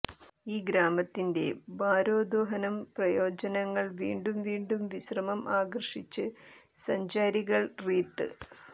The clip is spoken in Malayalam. ഈ ഗ്രാമത്തിന്റെ ഭാരോദ്വഹനം പ്രയോജനങ്ങൾ വീണ്ടും വീണ്ടും വിശ്രമം ആകർഷിച്ച് സഞ്ചാരികൾ റീത്ത്